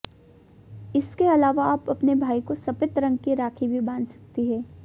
इसके अलावा आप अपने भाई को सफेद रंग की राखी भी बांध सकती हैं